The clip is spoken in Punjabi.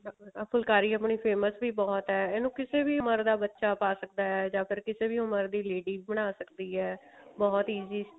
ਫੁਲਕਾਰੀ ਆਪਣੀ famous ਵੀ ਬਹੁਤ ਹੈ ਇਹਨੂੰ ਕਿਸੇ ਵੀ ਉਮਰ ਦਾ ਬੱਚਾ ਪਾ ਸਕਦਾ ਹੈ ਜਾਂ ਫਿਰ ਕਿਸੇ ਵੀ ਉਮਰ ਦੀ ladies ਬਣਾ ਸਕਦੀ ਹੈ ਬਹੁਤ easy